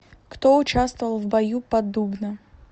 кто участвовал в бою под дубно